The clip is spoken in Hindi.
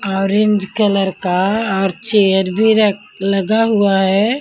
ऑरेंज कलर का और चेयर भी रख लगा हुआ हैं।